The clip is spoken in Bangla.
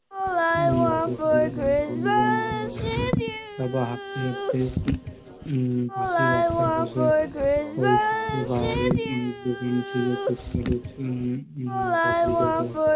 আমরা বন্ধুরা মিলে সবাই তারপর হাটতে হাটতে আরকি পাশের রাস্তায় বসে ঐসব খাবারের কিছু দোকান ছিলো ফুচকা টুচকা আর পাপড়ি চাটের